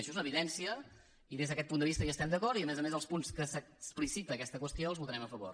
això és una evidència i des d’aquest punt de vista hi estem d’acord i a més a més els punts que explicita aquesta qüestió els votarem a favor